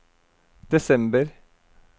desember